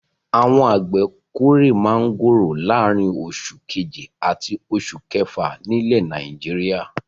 Àwọn àgbẹ̀ kórè máńgòrò láàárin oṣù kejì àti oṣù kefa nílẹ̀ Nàìjíríà.